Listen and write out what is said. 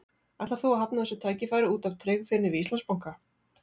Ætlar þú að hafna þessu tækifæri út af tryggð þinni við Íslandsbanka?